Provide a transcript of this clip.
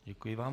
Děkuji vám.